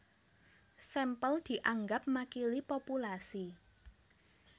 Sampel dianggep makili populasi